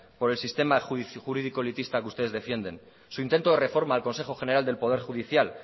por el sistema jurídico elitista que ustedes defienden su intento de reforma del consejo general del poder judicial